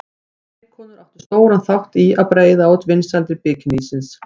Leikkonur áttu stóran þátt í að breiða út vinsældir bikinísins.